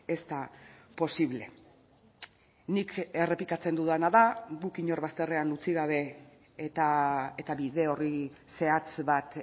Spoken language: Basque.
ez da posible nik errepikatzen dudana da guk inor bazterrean utzi gabe eta bide orri zehatz bat